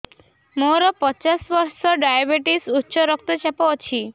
ମୋର ପଚାଶ ବର୍ଷ ଡାଏବେଟିସ ଉଚ୍ଚ ରକ୍ତ ଚାପ ଅଛି